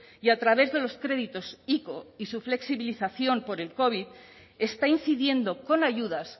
y a través de los créditos ico y su flexibilización por el covid está incidiendo con ayudas